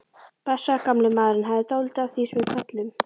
Blessaður gamli maðurinn hafði dálítið af því sem við köllum